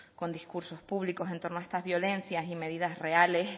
con discursos públicos en torno a estas violencias y medidas reales